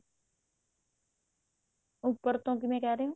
ਉੱਪਰ ਤੋਂ ਕਿਵੇਂ ਕਿਹ ਰਹੇ ਹੋ